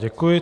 Děkuji.